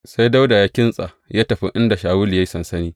Sai Dawuda ya kintsa ya tafi inda Shawulu ya yi sansani.